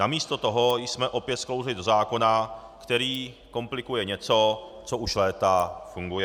Namísto toho jsme opět sklouzli do zákona, který komplikuje něco, co už léta funguje.